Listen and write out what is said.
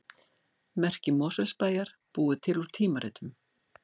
Merki Mosfellsbæjar búið til úr tímaritum